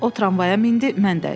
O tramvaya mindi, mən də.